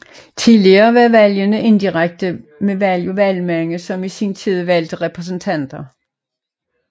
Tidligere var valgende indirekte med valg af valgmænd som i sin tid valgte repræsentanter